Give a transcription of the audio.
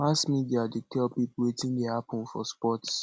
mass media dey tell pipo wetin dey happen for sports